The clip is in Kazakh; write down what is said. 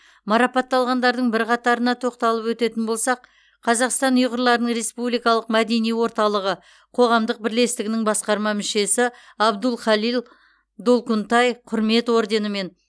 марапатталғандардың бірқатарына тоқталып өтетін болсақ қазақстан ұйғырларының республикалық мәдени орталығы қоғамдық бірлестігінің басқарма мүшесі абдулхалил долкунтай құрмет орденімен